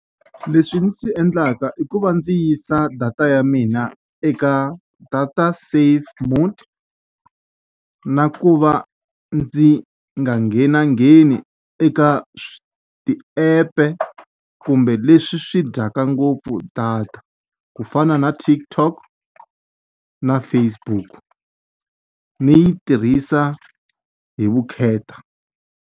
Leswi ndzi swi endlaka i ku va ndzi yisa data ya mina eka data safe mode, na ku va ndzi nga nghenangheni eka ti-app-e kumbe leswi swi dyaka ngopfu data. Ku fana na TikTok na Facebook, ni yi tirhisa hi vukheta.